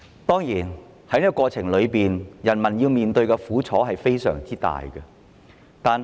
當然，在過程中，人民要面對非常大的苦楚。